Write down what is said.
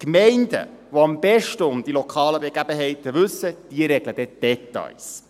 Die Gemeinden, die am besten um die lokalen Gegebenheiten wissen, regeln die Details.